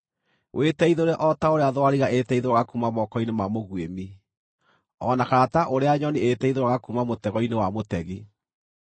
Wĩteithũre o ta ũrĩa thwariga ĩĩteithũraga kuuma moko-inĩ ma mũguĩmi, o na kana ta ũrĩa nyoni ĩĩteithũraga kuuma mũtego-inĩ wa mũtegi.